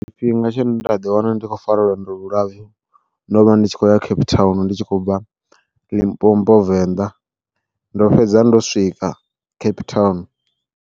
Tshifhinga tshe nda ḓi wana ndi khou fara lwendo lu lapfhu, ndo vha ndi tshi khou ya Cape Town ndi tshi khou bva Limpopo venḓa ndo fhedza ndo swika Cape Town.